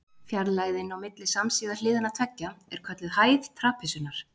Fjarlægðin á milli samsíða hliðanna tveggja er kölluð hæð trapisunnar.